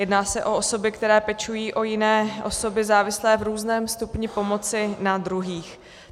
Jedná se o osoby, které pečují o jiné osoby závislé v různém stupni pomoci na druhých.